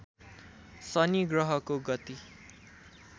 शनि ग्रहको गति